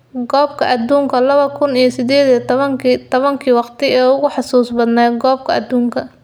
Koobka Adduunka lawa kuun iyo siddeed iyo tobaanki : Tobankii waqti ee ugu xusuusta badnaa Koobka Adduunka